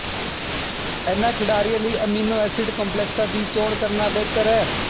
ਇਨ੍ਹਾਂ ਖਿਡਾਰੀਆਂ ਲਈ ਅਮੀਨੋ ਐਸਿਡ ਕੰਪਲੈਕਸਾਂ ਦੀ ਚੋਣ ਕਰਨਾ ਬਿਹਤਰ ਹੈ